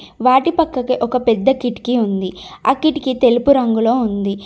వాటి పక్కకి ఒక పెద్ద కిటికీ ఉంది. ఆ కిటికీ తెలుపు రంగులో ఉంది.